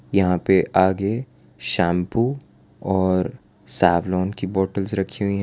यहां पे आगे शैम्पू और सॅवलॉन की बॉटल्स रखी हुई हैं।